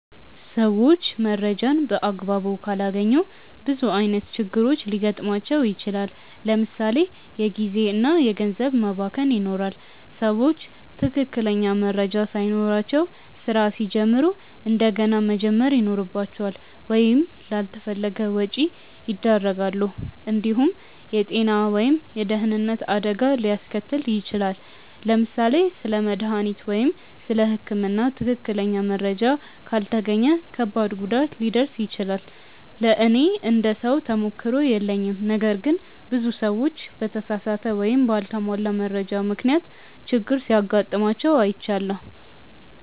ሰዎች መረጃን በአግባቡ ካላገኙ ብዙ ዓይነት ችግሮች ሊገጥሟቸው ይችላል። ለምሳ ሌ የጊዜ እና ገንዘብ መባከን ይኖራል። ሰዎች ትክክለኛ መረጃ ሳይኖራቸው ስራ ሲጀምሩ እንደገና መጀመር ይኖርባቸዋል ወይም ላልተፈለገ ወጪ ያደርጋሉ። እንዲሁም የጤና ወይም የደህንነት አደጋ ሊያስከትል ይችላል። ለምሳሌ ስለ መድሃኒት ወይም ስለ ህክምና ትክክለኛ መረጃ ካልተገኘ ከባድ ጉዳት ሊደርስ ይችላል። ለእኔ እንደ ሰው ተሞክሮ የለኝም ነገር ግን ብዙ ሰዎች በተሳሳተ ወይም በአልተሟላ መረጃ ምክንያት ችግር ሲጋጥማቸው አይቻለሁ።